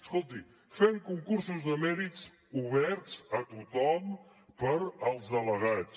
escolti fem concursos de mèrits oberts a tothom per als delegats